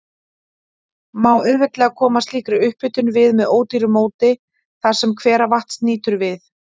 Má auðveldlega koma slíkri upphitun við með ódýru móti þar, sem hveravatns nýtur við.